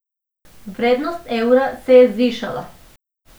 Vrednost evra se je zvišala.